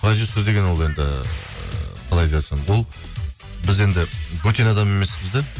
продюсер деген ол енді ыыы қалай деп айтсам ол біз енді бөтен адам емеспіз де